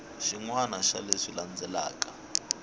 xin wana xa leswi landzelaka